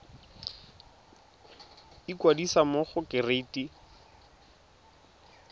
ikwadisa mo go kereite r